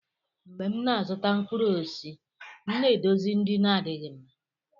mgbe m na-azụta mkpụrụ osisi, m na-edozi ndị na-adịghị mma.